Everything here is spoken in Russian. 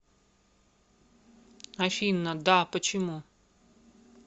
афина да почему